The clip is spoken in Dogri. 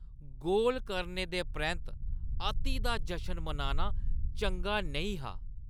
गोल करने दे परैंत्त अति दा जशन मनाना चंगा नेईं हा।